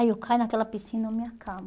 Ai, eu caio naquela piscina, eu me acabo.